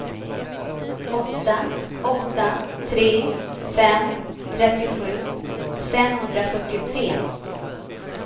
åtta åtta tre fem trettiosju femhundrafyrtiotre